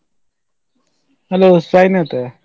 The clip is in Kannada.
Hello ಸಾಯಿನಾಥ್.